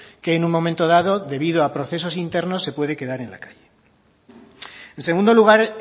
que en un momento dado debido a procesos internos se puede quedar en la calle en segundo lugar